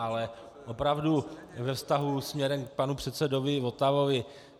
Ale opravdu ve vztahu směrem k panu předsedovi Votavovi.